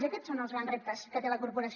i aquests són els grans reptes que té la corporació